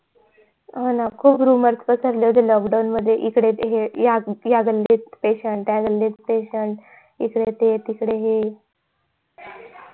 हो ना खूप rumours पसरले होते lockdown मध्ये इकडे तिकडे या गल्लीत patient त्या गल्लीत patient इकडे ते तिकडे हे